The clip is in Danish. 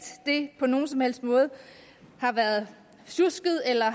det på nogen som helst måde har været sjusket eller